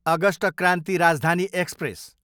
August Kranti Rajdhani express